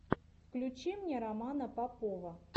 включи мне романа попова